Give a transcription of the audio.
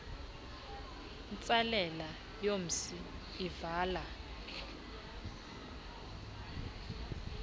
ntsalela yomsi ivala